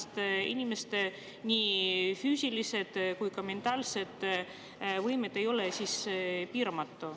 Aga inimeste nii füüsilised kui ka mentaalsed võimed ei ole siiski piiramatud.